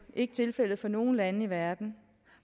ikke tilfældet for nogle lande i verden